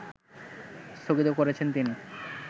স্থগিত করেছেন তিনি